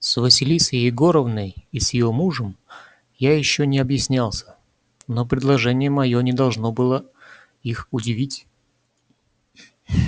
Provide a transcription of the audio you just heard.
с василисой егоровной и с её мужем я ещё не объяснялся но предложение моё не должно было их удивить